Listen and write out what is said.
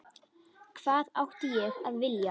Hvað átti ég að vilja?